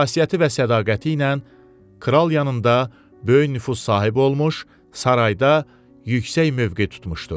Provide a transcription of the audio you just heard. Xasiyyəti və sədaqəti ilə kral yanında böyük nüfuz sahibi olmuş, sarayda yüksək mövqe tutmuşdu.